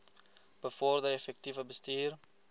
bevorder effektiewe bestuur